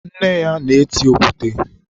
nne ya na-eti okwute.